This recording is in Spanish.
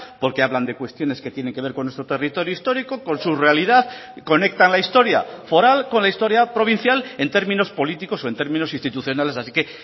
porque hablan de cuestiones que tienen que ver con nuestro territorio histórico con su realidad conectan la historia foral con la historia provincial en términos políticos o en términos institucionales así que